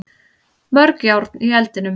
Mörg járn í eldinum